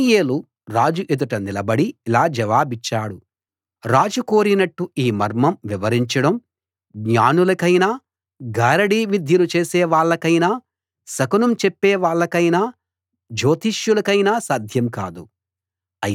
దానియేలు రాజు ఎదుట నిలబడి ఇలా జవాబిచ్చాడు రాజు కోరినట్టు ఈ మర్మం వివరించడం జ్ఞానులకైనా గారడీ విద్యలు చేసేవాళ్ళకైనా శకునం చెప్పేవాళ్ళకైనా జ్యోతిష్యులకైనా సాధ్యం కాదు